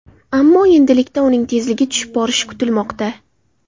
Ammo endilikda uning tezligi tushib borishi kutilmoqda.